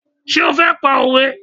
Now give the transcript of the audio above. Ṣé o fẹ́ pa òwe?